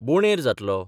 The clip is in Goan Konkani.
बोंडेर जातलो.